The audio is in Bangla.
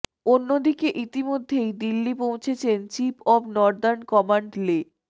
অন্যদিকে ইতোমধ্যেই দিল্লি পৌঁছেছেন চিফ অব নর্দার্ন কমান্ড লে